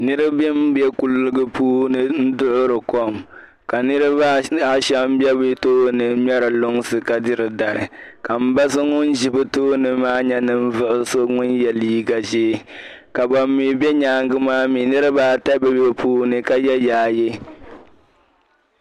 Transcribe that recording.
niribi ni be kuliga ni n duhiri kom ka niriba a shɛm m be bi tooni ŋmɛri kumsi ka diri dari ka m ba so ŋun ʒi bi tooni maa nye ninvuɣi so ŋun ye liiga ʒee ka ban mi be nyaanga maa mi niriba ata m be bi puuni ka ye yaaye